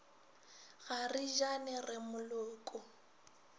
ga re jane re moloko